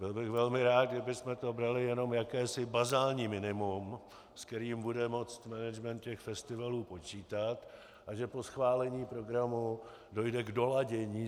Byl bych velmi rád, kdybychom to brali jako jakési bazální minimum, s kterým bude moci management těch festivalů počítat, a že po schválení programu dojde k doladění.